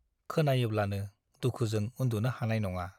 खोनायोब्लानो दुखुजों उन्दुनो हानाय नङा ।